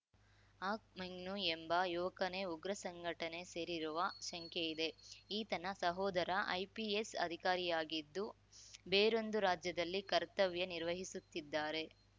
ಹಕ್‌ ಮೆಂಗ್ನೂ ಎಂಬ ಯುವಕನೇ ಉಗ್ರ ಸಂಘಟನೆ ಸೇರಿರುವ ಶಂಕೆಯಿದೆ ಈತನ ಸಹೋದರ ಐಪಿಎಸ್‌ ಅಧಿಕಾರಿಯಾಗಿದ್ದು ಬೇರೊಂದು ರಾಜ್ಯದಲ್ಲಿ ಕರ್ತವ್ಯ ನಿರ್ವಹಿಸುತ್ತಿದ್ದಾರೆ